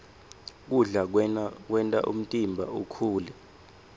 kudla kwenta umtimba ukhule